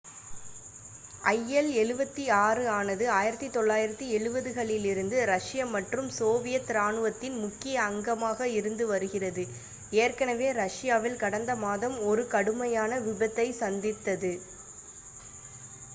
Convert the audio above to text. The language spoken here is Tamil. il-76 ஆனது 1970களிலிருந்து இரஷ்ய மற்றும் சோவியத் இராணுவத்தின் முக்கிய அங்கமாக இருந்து வருகிறது ஏற்கனவே ரஷ்யாவில் கடந்த மாதம் ஒரு கடுமையான விபத்தைச் சந்தித்தது